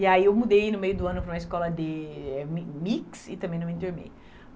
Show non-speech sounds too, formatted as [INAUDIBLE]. E aí eu mudei no meio do ano para uma escola de [UNINTELLIGIBLE] mix e também não me enturmei.